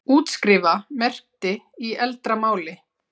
útskrifa merkti í eldra máli